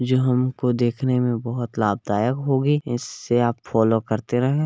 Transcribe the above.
जो हमको देखने में बहोत लाभदायक होगी इसे अप फॉलो करते रहें